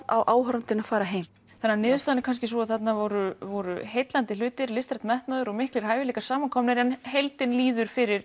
á áhorfandinn að fara heim þannig niðurstaðan er sú að þarna voru voru heillandi hlutir listrænn metnaður og miklir hæfileikar samankomnir en heildin líður fyrir